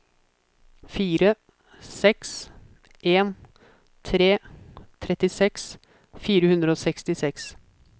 fire seks en tre trettiseks fire hundre og sekstiseks